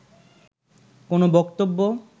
কোন বক্তব্য